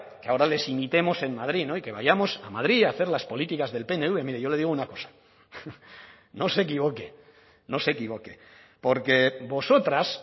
que ahora les imitemos en madrid y que vayamos a madrid a hacer las políticas del pnv mire yo le digo una cosa no se equivoque no se equivoque porque vosotras